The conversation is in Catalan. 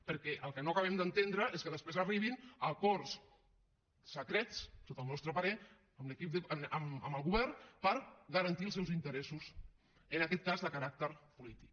perquè el que no acabem d’entendre és que després arribin a acords secrets sota el nostre parer amb el govern per garantir els seus interessos en aquest cas de caràcter polític